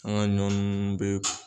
An ga ɲɔ nunnu be